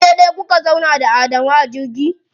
Waje ɗaya kuka zauna da Adamu a jirgi?